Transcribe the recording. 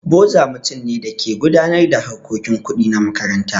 Boza mutum ne da ke gudanar da harkokin kuɗi na makaranta.